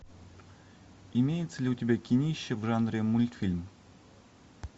имеется ли у тебя кинище в жанре мультфильм